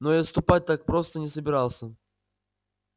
но и отступать так просто не собирался